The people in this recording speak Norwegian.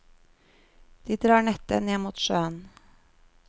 De drar nettet ned mot sjøen.